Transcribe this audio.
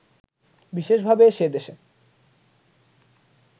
বিশেষভাবে সে দেশে